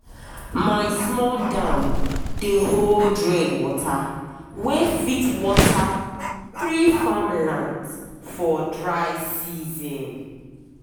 my small dam dey hold rain water wey fit water three farmlands for dry season.